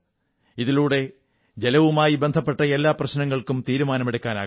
ഇതിലൂടെ ജലവുമായി ബന്ധപ്പെട്ട എല്ലാ പ്രശ്നങ്ങൾക്കും തീരുമാനമെടുക്കാനാകും